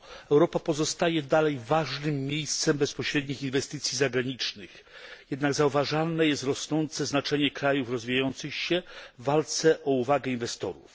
Europa pozostaje dalej ważnym miejscem bezpośrednich inwestycji zagranicznych. Jednak zauważalne jest rosnące znaczenie krajów rozwijających się w walce o uwagę inwestorów.